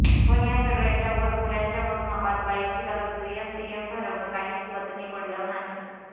पण या सगळ्याच्या वर मूल्यांच्या मोजमापात बाईची बाजू दुय्यम तिय्यम ठरवणं काही पचनी पडलं नाही